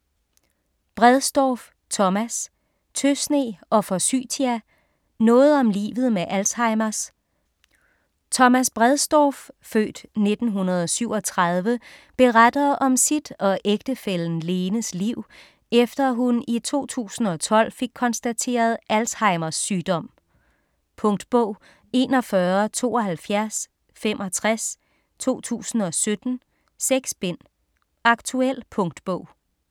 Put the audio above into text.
Bredsdorff, Thomas: Tøsne og forsytia: noget om livet med Alzheimers Thomas Bredsdorff (f. 1937) beretter om sit og ægtefællen Lenes liv, efter hun i 2012 fik konstateret Alzheimers sygdom. Punktbog 417265 2017. 6 bind. Aktuel punktbog